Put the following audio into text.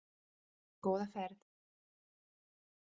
Góða ferð.